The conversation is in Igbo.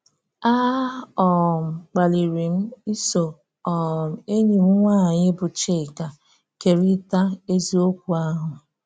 A um kpalírí m iso um enyi m nwanyị bụ́ Chíkà kerịta eziokwu ahụ.